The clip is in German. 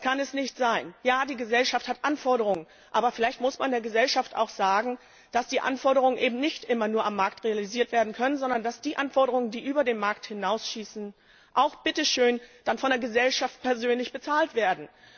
Das kann es nicht sein! Ja, die Gesellschaft stellt Anforderungen. Aber vielleicht muss man der Gesellschaft auch sagen, dass die Anforderungen eben nicht immer nur am Markt realisiert werden können, sondern dass die Anforderungen, die über den Markt hinausschießen, auch bitteschön dann von der Gesellschaft persönlich bezahlt werden.